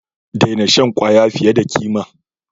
Daina shan fiye da kima!